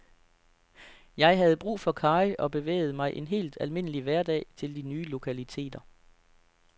Jeg havde brug for karry og bevægede mig en helt almindelig hverdag til de nye lokaliteter.